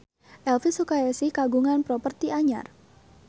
Elvi Sukaesih kagungan properti anyar